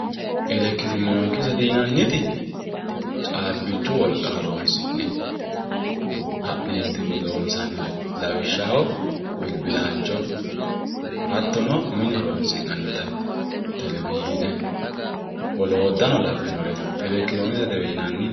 elekitiroonikisete yinanniti caabbichu wolqa horonsi'ne ka'neetinni loonsannire lawishshaho bilbilaancho hattono mine mine horonsi'nannita televishiine wolootano labinore elektironiksetewe yinanni.